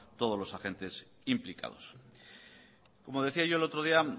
todos los agentes implicados como decía yo el otro día